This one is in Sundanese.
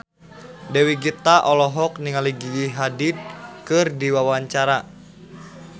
Dewi Gita olohok ningali Gigi Hadid keur diwawancara